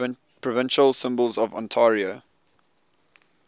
provincial symbols of ontario